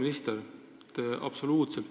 Auväärt minister!